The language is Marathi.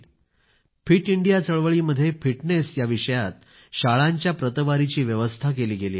फिट इंडिया चळवळी मध्ये फिटनेस या विषयात शाळांच्या रँकींगची व्यवस्था केली गेली आहे